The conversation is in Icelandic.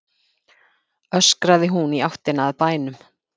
öskraði hún í áttina að bænum.